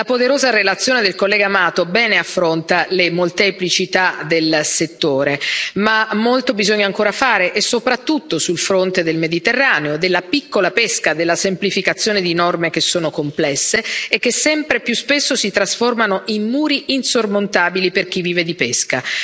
La poderosa relazione del collega Mato bene affronta le molteplicità del settore, ma molto bisogna ancora fare, e soprattutto sul fronte del Mediterraneo, della piccola pesca, della semplificazione di norme che sono complesse e che sempre più spesso si trasformano in muri insormontabili per chi vive di pesca.